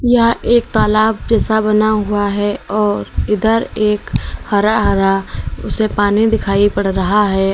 यह एक तलाब जैसा बना हुआ है और इधर एक हरा हरा उसमें पानी दिखाई पड़ रहा है।